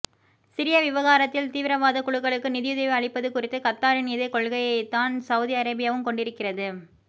Syria விவகாரத்தில் தீவிரவாதக் குழுக்களுக்கு நிதியுதவி அளிப்பது குறித்த கத்தாரின் இதே கொள்கையைத்தான் செளதி அரேபியாவும் கொண்டிருக்கிறது